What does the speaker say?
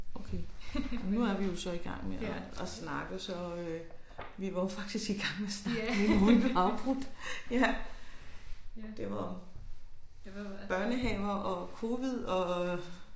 Okay. Nu er vi jo så i gang med at at snakke så øh vi var jo faktisk i gang med at snakke nu uden at blive afbrudt ja det var børnehavner og covid og